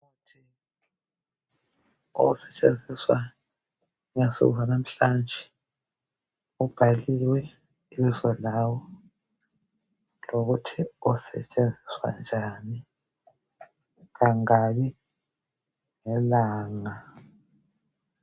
Okusetshenziswa ngensuku zanamhlanje kubhaliwe ibizo lawo lokuthi usetshenziswa njani kangaki ngelanga.